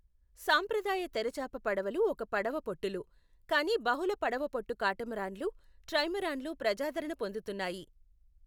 సాంప్రదాయ తెరచాప పడవలు ఒక్క పడవ పొట్టులు, కానీ బహుళ పడవ పొట్టు కాటమరాన్లు, ట్రైమరాన్లు ప్రజాదరణ పొందుతున్నాయి.